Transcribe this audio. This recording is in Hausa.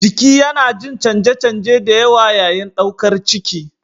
Jiki yana yin canje-canje da yawa yayin ɗaukar ciki.